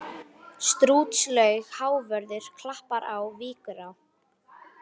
Strútslaug, Hávörður, Klappará, Víkurá